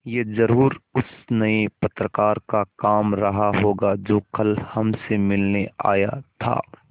यह ज़रूर उस नये पत्रकार का काम रहा होगा जो कल हमसे मिलने आया था